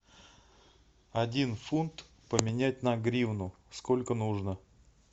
один фунт поменять на гривну сколько нужно